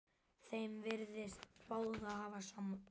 Þeim virtist báðum hafa sárnað.